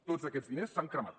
tots aquests diners s’han cremat